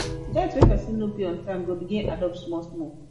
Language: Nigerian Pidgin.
debt wey person no pay on time go begin add up small small